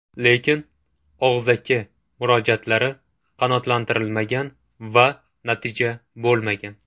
Lekin og‘zaki murojaatlari qanoatlantirilmagan va natija bo‘lmagan.